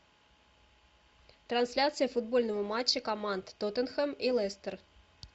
трансляция футбольного матча команд тоттенхэм и лестер